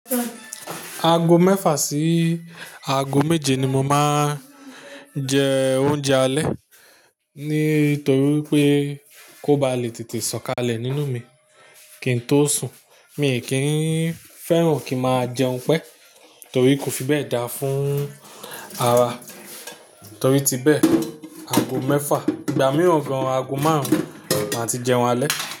Ago mẹ́fà sí ago méje ni mo máa ń jẹ oúnjẹ alẹ́. Nítorí wipé kó ba lè tètè sọ̀kalẹ̀ nínú mi kí n tó sùn. Mi kì í fẹ́ràn kí n máa jẹun pẹ́ torí kò fi bẹ́ẹ̀ dára fún ara. Torí ti bẹ́ẹ̀, ago mẹ́fà, ìgbà mìíràn gan-an ago márùn-ún máa ti jẹun alẹ́.